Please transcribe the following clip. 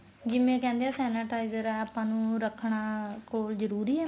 ਜਿਵੇਂ ਕਹਿੰਦੇ ਆ sanitizer ਆ ਆਪਾਂ ਨੂੰ ਰੱਖਣਾ ਕੋਲ ਜਰੂਰੀ ਹੈ